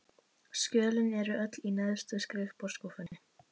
Skjölin eru öll í neðstu skrifborðsskúffunni.